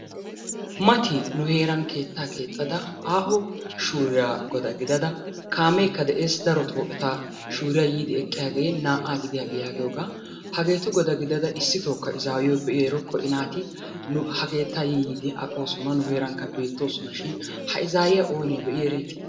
Mati nu heeran keettaa keexxada aaho shuuriya goda gidada kaameekka de'es darotoo eta shuuriya yiidi eqqiyagee naa"aa gidiyage yaagiyogaa. Hageetu goda gidada issitookka izaayyiyo be'i erokko I naati nu ha keettaa yi yiidi aqoosona nu keerankka beettoosonashin ha izaayyiya oonee be'i ereeti?